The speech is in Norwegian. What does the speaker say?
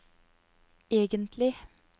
egentlig